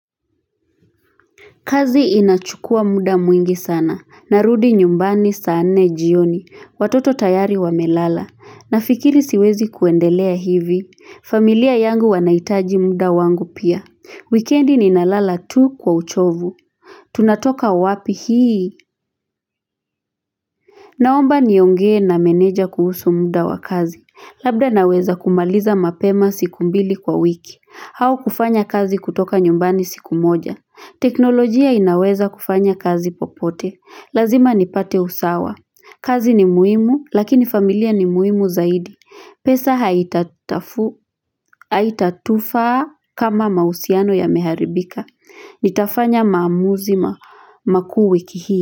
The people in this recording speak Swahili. Kazi inachukua muda mwingi sana. Narudi nyumbani saa nne jioni. Watoto tayari wamelala. Nafikiri siwezi kuendelea hivi. Familia yangu wanaitaji muda wangu pia. Weekendi nina lala tu kwa uchovu. Tunatoka wapi hii. Naomba niongee na meneja kuhusu muda wa kazi, labda naweza kumaliza mapema siku mbili kwa wiki, au kufanya kazi kutoka nyumbani siku moja. Teknolojia inaweza kufanya kazi popote, lazima nipate usawa. Kazi ni muhimu, lakini familia ni muhimu zaidi. Pesa haitatufaa, kama mahusiano yameharibika. Nitafanya maamuzi makuu wiki hii.